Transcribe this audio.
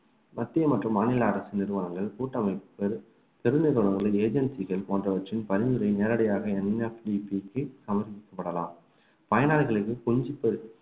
மத்திய மற்றும் மாநில அரசு நிறுவனங்கள் கூட்டமைப்புகள் பெரு நிறுவனங்கள் agency கள் போன்றவற்றின் பரிந்துரை நேரடியாக NFDP க்கு சமர்ப்பிக்கப்படலாம்